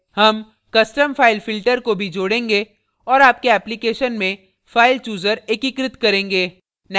हम custom file filter को भी जोड़ेंगे और आपके application में file chooser एकीकृत करेंगे